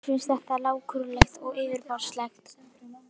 Mér finnst þetta lágkúrulegt og yfirborðslegt.